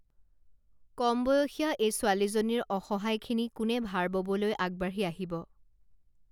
কমবয়সীয়া এই ছোৱালীজনীৰ অসহায়খিনি কোনে ভাৰ ববলৈ আগবাঢ়ি আহিব